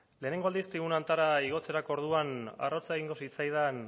lehenengo aldiz tribuna honetara igotzerako orduan arrotza egingo zitzaidan